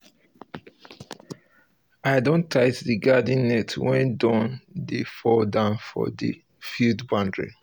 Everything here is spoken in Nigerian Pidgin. i dey check the place wey we plant vegetables first every time for my waka